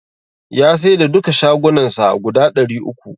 Ya saida duka shagunnan sa guda ɗari uku.